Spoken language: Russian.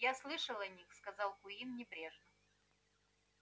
я слышал о них сказал куинн небрежно